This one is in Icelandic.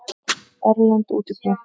Erlend útibú.